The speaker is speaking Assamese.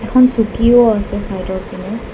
এখন চকীও আছে চাইদৰ পিনে।